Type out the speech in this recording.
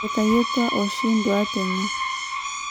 Etayutuo oshi nduat enye.